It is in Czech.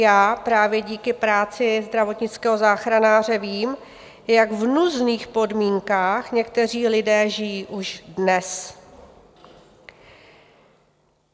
Já právě díky práci zdravotnického záchranáře vím, v jak hrůzných podmínkách někteří lidé žijí už dnes.